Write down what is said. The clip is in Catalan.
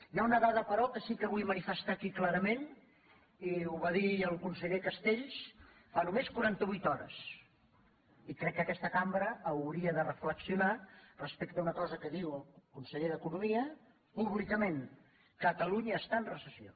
hi ha una dada però que sí que vull manifestar aquí clarament i ho va dir el conseller castells fa només quaranta vuit hores i crec que aquesta cambra hauria de reflexionar respecte a una cosa que diu el conseller d’economia públicament catalunya està en recessió